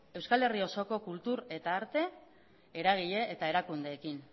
euskal herri osoko kultur eta arte eragile eta erakundeekin